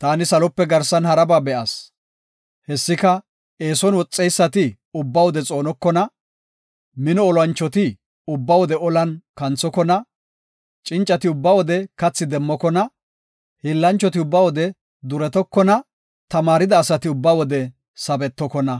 Taani salope garsan haraba be7as. Hessika, eeson woxeysati ubba wode xoonokona; mino olanchoti ubba wode olan kanthokona; cincati ubba wode kathi demmokona; hiillanchoti ubba wode duretokona; tamaarida asati ubba wode sabetokona.